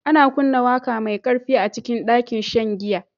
Ana kunna waƙa mai ƙarfi a cikin ɗakin shan giya